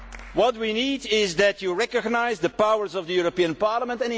What we need is for you to recognise the powers of the European Parliament.